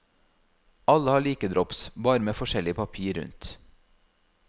Alle har like drops, bare med forskjellig papir rundt.